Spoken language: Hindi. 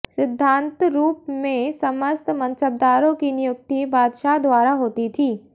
सिद्धान्तरूप में समस्त मन्सबदारों की नियुक्ति बादशाह द्वारा होती थी